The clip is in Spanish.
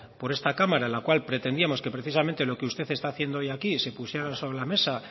por esta cámara en la cual pretendíamos que precisamente lo que usted está haciendo hoy aquí se pusiera sobre la mesa